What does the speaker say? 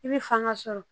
I bɛ fanga sɔrɔ